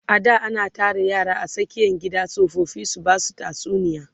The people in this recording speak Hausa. a da ana Tara yara a tsakiyan gari tsofaffi su Basu tatsuniya